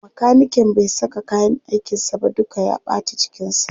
Makaniken bai saka kayyan aikinsa ba duka ya ɓata jikinsa.